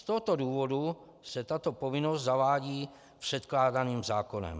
Z tohoto důvodu se tato povinnost zavádí předkládaným zákonem.